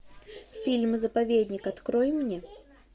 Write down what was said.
фильм заповедник открой мне